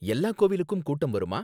எல்லா கோவிலுக்கும் கூட்டம் வருமா?